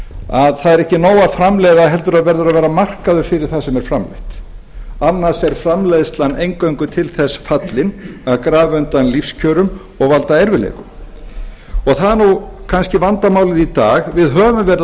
að það er ekki á að framleiða heldur verður að vera markaður fyrir það sem er framleitt annars er framleiðslan eingöngu til þess fallin að grafa undan lífskjörum og valda erfiðleikum það er kannski vandamálið í dag við höfum verið að